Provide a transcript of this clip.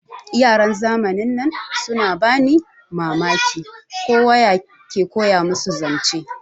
Yaran zamanin nan suna bani Mamaki, ko wa ya ke koya musu zance.